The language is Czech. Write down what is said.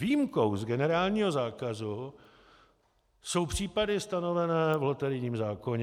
Výjimkou z generálního zákazu jsou případy stanovené v loterijním zákoně.